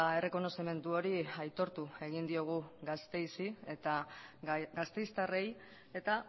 errekonozimendu hori aitortu egin diogu gasteizi eta gasteiztarrei eta